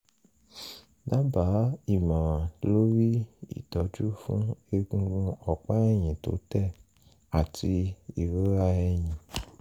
dábàá ìmọ̀ràn lórí ìtọ́jú fún egungun ọ̀pá ẹ̀yìn tó tẹ̀ àti ìrora ẹ̀yìn